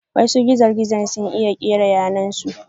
Wasu gizo-gizo sun iya kera yanar su.